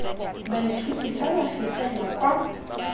baithuti fa ba fetela kwa